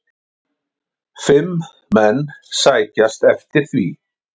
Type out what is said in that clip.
Fimm menn sækjast eftir því.